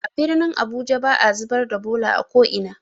A birnin abuja ba'a zubar da bola a ko'ina.